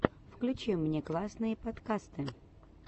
включи мне классные подкасты